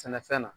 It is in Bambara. Sɛnɛfɛn na